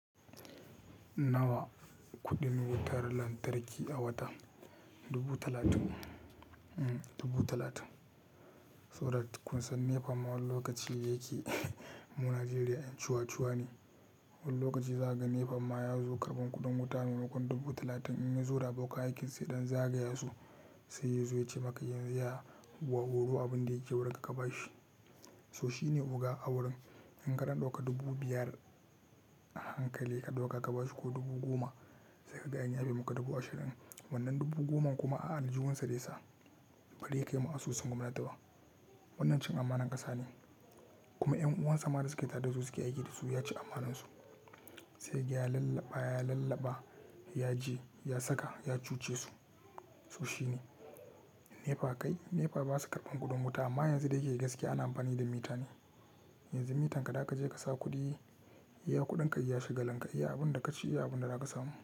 Nawa kuɗin wutar lantarki a wata dubu talatin so da kun san NEPA ma wane lokaci yake mu Najeriya 'yan ciwacewa ne. Wane lokaci za ka ga NEPA ma ya zo karɓar kuɗin wuta maimakon dubu talatin in yazo da abokan aikinsa idan za a gaya su sai yazo ya ce maka yanzu ya wawuro abin da yake wurinka ka bashi. To shi ne oga a wurin, in ka ɗan ɗoka dubu biyar a hankali ka ɗauka ka bashi ko dubu goma sai ka gaya in yabi muka dubu ashirin. Wannan dubu goma kuma a aljihunsa zai sa ba ya kai mu asusun gwamnati ba. Wannan cin amana ƙasa ne kuma 'yan'uwan sama da suke taɗa zu zu ki aiki da su ya ci ammanansu sai ga ya lallaɓa ya lallaɓa ya je ya saka ya cuce su so shi ne. NEPA kai NEPA ba su karɓar kuɗin wuta amma yanzu da yake gaske ana amfani da mita ne. Yanzu mitanka da ka je ka sa kuɗi iya kuɗinka iya shigalinka iya abun da ka ci iya abun da za ka samu.